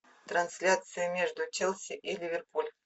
трансляция между челси и ливерпуль